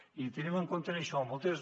i tenint en compte això moltes